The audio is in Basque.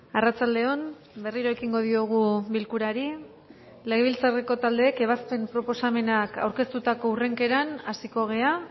arratsalde on berriro ekingo diogu bilkurari legebiltzarreko taldeek ebazpen proposamenak aurkeztutako hurrenkeran hasiko gara